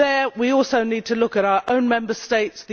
We also need to look at our own Member States.